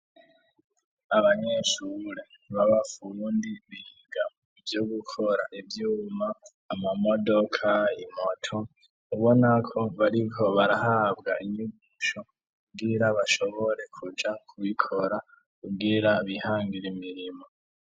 Abanyeshure, baba fundi ,biga Ivyo gukora ivyuma, Amamodoka, imoto ,ubona ko bariko barahabwa inyigisho kugira ,bashobore, kuja kubikora, kugira bihangire imirimwo.